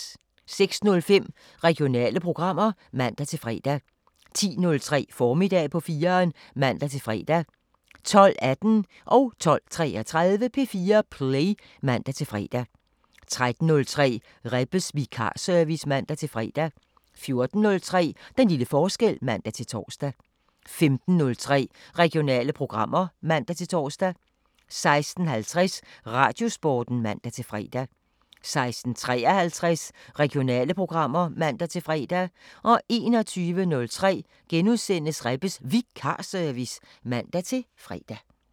06:05: Regionale programmer (man-fre) 10:03: Formiddag på 4'eren (man-fre) 12:18: P4 Play (man-fre) 12:33: P4 Play (man-fre) 13:03: Rebbes Vikarservice (man-fre) 14:03: Den lille forskel (man-tor) 15:03: Regionale programmer (man-tor) 16:50: Radiosporten (man-fre) 16:53: Regionale programmer (man-fre) 21:03: Rebbes Vikarservice *(man-fre)